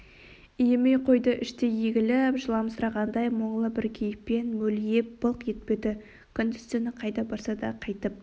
иімей қойды іштей егіліп жыламсырағандай мұңлы бір кейіппен мөлиіп былқ етпеді күндіз-түні қайда барса да қайтып